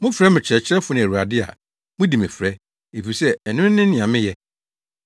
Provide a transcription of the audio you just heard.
Mofrɛ me ‘Kyerɛkyerɛfo’ ne ‘Awurade’ a mudi me frɛ; efisɛ ɛno ne nea meyɛ.